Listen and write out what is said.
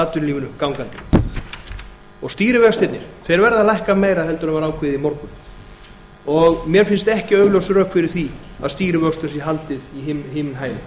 atvinnulífinu gangandi stýrivextirnir verða að lækka meira en var ákveðið í morgun mér finn st ekki einföld rök fyrir því að stýrivöxtum sé haldið í himinhæðum